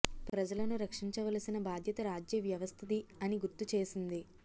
ప్రజలను రక్షించవలసిన బాధ్యత రాజ్య వ్యవస్థది అని గుర్తు చేసింది